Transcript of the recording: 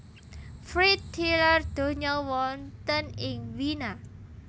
Fried tilar donya wonten ing Wina